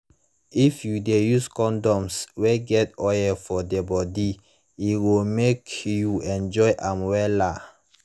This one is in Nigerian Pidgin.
if u de use condoms wey get oil for the body e go make you enjoy am wella